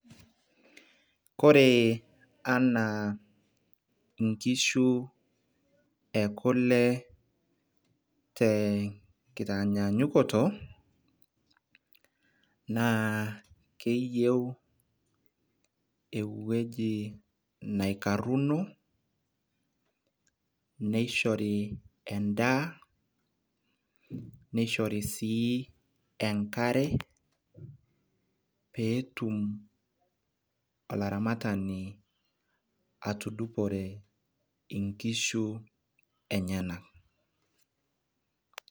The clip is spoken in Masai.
kore anaaa inkishu ekule tenkitanyaanyukoto, naa keyieu ewueji neikaruno, neishori edaa, neishori sii enkare. pee etum aolaramatani atudupore nkishu enyenaka.